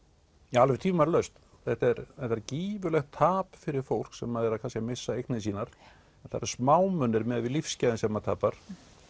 já alveg tvímælalaust þetta er gífurlegt tap fyrir fólk sem er að missa eignir sínar það eru smámunir miðað við lífsgæðin sem maður tapar